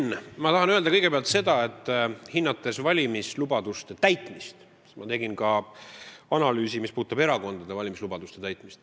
Henn, ma tahan öelda kõigepealt seda, et hinnates valimislubaduste täitmist, analüüsisin ma ka erakondade valimislubaduste täitmist.